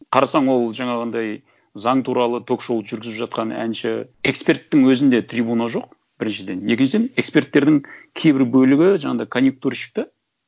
қарасаң ол жаңағындай заң туралы ток шоуды жүргізіп жатқан әнші эксперттің өзінде трибуна жоқ біріншіден екіншіден эксперттердің кейбір бөлігі жаңағындай конъюктурщик та